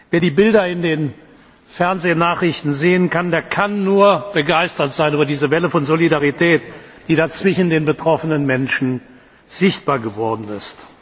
Wer die Bilder in den Fernsehnachrichten sieht, der kann nur begeistert sein über diese Welle von Solidarität, die da zwischen den betroffenen Menschen sichtbar geworden ist.